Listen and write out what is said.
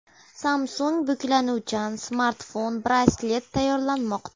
Samsung buklanuvchan smartfon-braslet tayyorlamoqda .